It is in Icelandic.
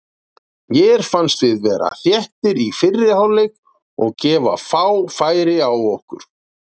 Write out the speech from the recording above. Mér fannst við vera þéttir í fyrri hálfleik og gefa fá færi á okkur.